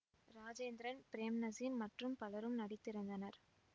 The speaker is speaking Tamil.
ராஜேந்திரன் பிரேம்நசீர் மற்றும் பலரும் நடித்திருந்தனர்